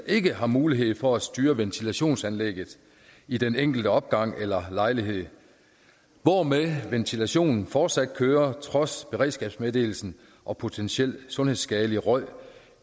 ikke har mulighed for at styre ventilationsanlægget i den enkelte opgang eller lejlighed hvormed ventilationen fortsat kører trods beredskabsmeddelelsen og potentiel sundhedsskadelig røg